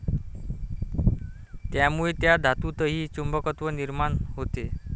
त्यामुळे त्या धातूतही चुंबकत्व निर्माण होते.